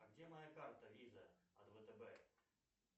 а где моя карта виза от втб